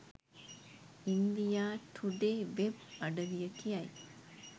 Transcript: India Today web අඩවිය කියයි